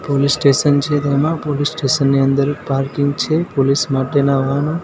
police station છે તેમા police station ની અંદર પાર્કિંગ છે પોલીસ માટેના વાહનો--